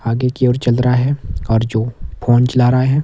आगे की ओर चादरा है और जो फोन चला रहा है।